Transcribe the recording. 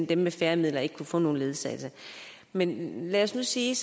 dem med færre midler ikke kan få nogen ledsagelse men lad os så sige